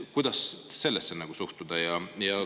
Kuidas sellesse suhtuda?